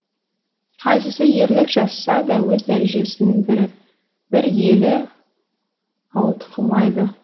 қайсысы ерлік жасаса да өз дәрежесінен бір елі ауытқымайды